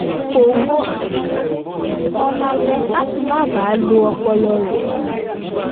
kò wo àwọn eré tó le mó lálẹ́ láti má baà lo ọpọlọ rẹ̀ jù